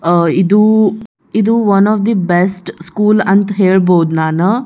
ಅಹ್ ಇದು ಇದು one of the best school ಅಂತ ಹೇಳಬಹುದು ನಾನ.